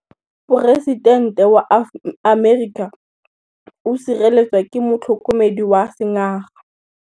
Poresitêntê wa Amerika o sireletswa ke motlhokomedi wa sengaga.